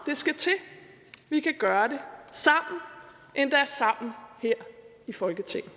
vi kan gøre det sammen endda sammen her i folketinget